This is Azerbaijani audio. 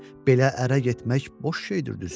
Belə ərə getmək boş şeydir, düzü.